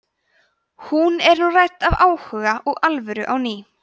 hún er nú rædd af áhuga og alvöru á ný